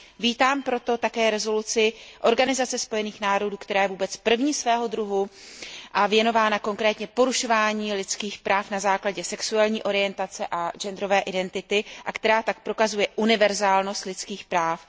Vítám proto také rezoluci Organizace spojených národů, která je jako vůbec první svého druhu věnována konkrétně porušování lidských práv na základě sexuální orientace a genderové identity a která tak prokazuje univerzálnost lidských práv.